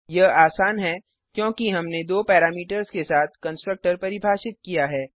यह आसान है क्योंकि हमने दो पैरामीटर्स के साथ कंस्ट्रक्टर परिभाषित किया है